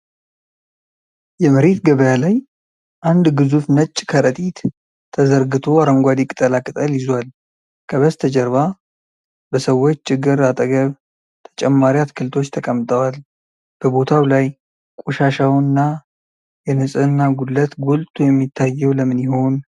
የመሬት ገበያ ላይ አንድ ግዙፍ ነጭ ከረጢት ተዘርግቶ አረንጓዴ ቅጠላቅጠል ይዟል። ከበስተጀርባ በሰዎች እግር አጠገብ ተጨማሪ አትክልቶች ተቀምጠዋል። በቦታው ላይ ቆሻሻውና የንጽህና ጉድለት ጎልቶ የሚታየው ለምን ይሆን?